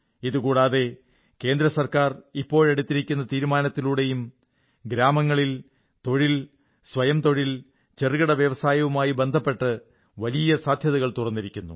ഇതുകൂടാതെ കേന്ദ്ര സർക്കാർ ഇപ്പോഴെടുത്തിരിക്കുന്ന തീരുമാനത്തിലൂടെയും ഗ്രാമങ്ങളിൽ തൊഴിൽ സ്വയം തൊഴിൽ ചെറുകിട വ്യവസായങ്ങളുമായി ബന്ധപ്പെട്ട് വലിയ സാധ്യതകൾ തുറന്നിരിക്കുന്നു